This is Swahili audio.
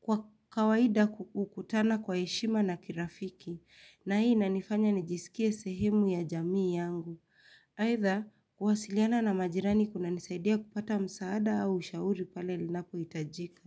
Kwa kawaida hukutana kwa heshima na kirafiki. Na hii nanifanya nijisikie sehemu ya jamii yangu. Aitha, kuhasiliana na majirani kunanisaidia kupata msaada au ushauri pale linapo itajika.